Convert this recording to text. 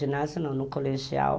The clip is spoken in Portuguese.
Ginásio não, no colegial...